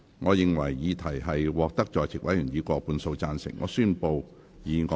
我認為議題獲得在席委員以過半數贊成。